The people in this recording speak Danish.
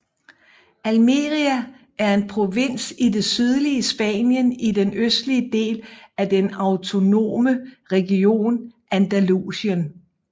Almería er en provins i det sydlige Spanien i den østlige del af den autonome region Andalusien